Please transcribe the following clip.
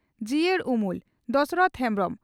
ᱡᱤᱭᱟᱹᱲ ᱩᱢᱩᱞ (ᱫᱚᱥᱚᱨᱚᱛᱷᱚ ᱦᱮᱢᱵᱽᱨᱚᱢ)